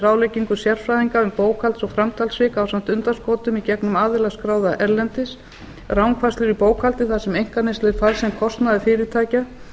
ráðleggingu sérfræðinga um bókhalds og framtalssvik ásamt undanskotum í gegnum aðila skráða erlendis rangfærslur í bókhaldi þar sem einkaneysla er færð sem kostnaður fyrirtækja